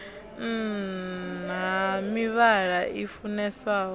nn ha mivhala i funeswaho